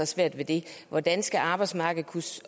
svært ved det hvordan skal arbejdsmarkedet kunne